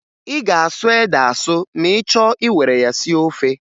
Ị ga-asụ ede asụ ma ị chọọ iwere ya sie ofe